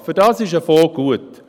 Dafür ist ein Fonds gut.